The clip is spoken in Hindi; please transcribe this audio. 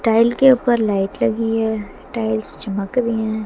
टाइल के ऊपर लाइट लगी है टाइल्स चमक रही हैं।